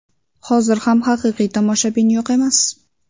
Hozir ham haqiqiy tomoshabin yo‘q emas.